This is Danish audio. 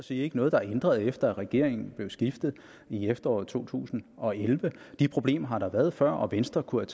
sige ikke noget der er ændret efter at regeringen blev skiftet i efteråret to tusind og elleve de problemer har været der før og venstre kunne